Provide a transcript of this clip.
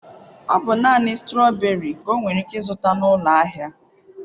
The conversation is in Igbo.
Ọ bụ naanị strawberries nwere ike zụta n'ụlọ ahịa.